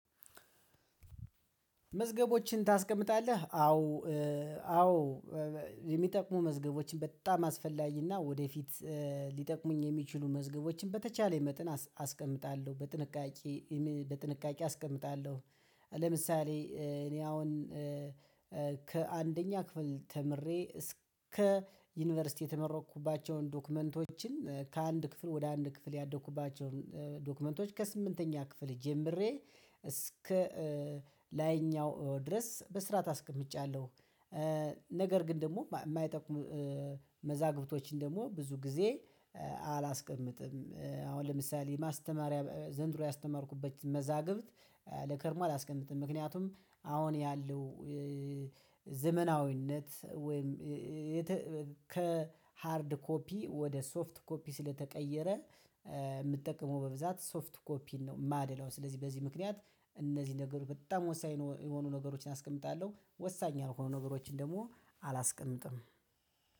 መዝገቦችን ታስቀምጣለህ አዎ። አዎ የሚጠቅሙ መዝገቦችን በጣም አስፈላጊና ወደፊት ሊጠቅሙኝ የሚችሉ መዝገቦችን በተቻለኝ መጠን አስቀምጣለሁ በጥንቃቄ በጥንቃቄ አስቀምጣለሁ። ለምሳሌ እኔ አሁን ከአንደኛ ክፍል ተምሬ እስከ ዩኒቨርሲቲ የተመረቅኩባቸውን ዶክመንቶችን ከአንድ ክፍል ወደ አንድ ክፍል ያደኩባቸውን ዶክመንቶች ከስምንተኛ ክፍል ጀምሬ እስከ ላይኛው ድረስ በስራ በስርዓት አቀምጫለሁ። ነገር ግን ደግሞ የማይጠቁም መዛግብቶችን ደግሞ ብዙ ጊዜ አላስቀምጥም። አሁን ለምሳሌ ማስተማሪያ ዘንድሮ ያስተማርኩበት መዛግብት ለከርሞ አላስቀምጥም። ምክንያቱም አሁን ያለው ዘመናዊነት ወይም ከሃርድ ኮፒ ወደ ሶፍት ኮፒ ስለተቀየረ። የምጠቀመው በብዛት ሶፍት ኮፒ ነው የማደላው። ስለዚህ በዚህ ምክንያት እነዚህ ነገሮች በጣም ወሳኝ የሆኑ ነገሮችን አስቀምጣለሁ። ወሳኝ ያልሆኑ ነገሮችን ደግሞ አላስቀምጥም።